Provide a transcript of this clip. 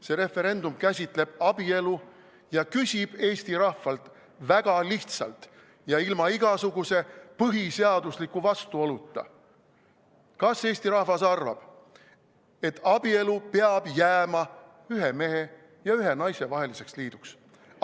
See referendum käsitleb abielu ja küsib Eesti rahvalt väga lihtsalt ja ilma igasuguse põhiseadusliku vastuoluta: kas Eesti rahvas arvab, et abielu peab jääma ühe mehe ja ühe naise vaheliseks liiduks?